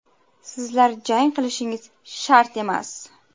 Sizlar jang qilishingiz shart emas.